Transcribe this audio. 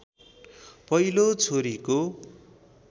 पहिलो छोरीको